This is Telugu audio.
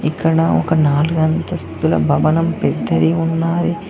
ఇక్కడ ఒక నాలుగు అంతస్తుల భవనం పెద్దది ఉన్నది.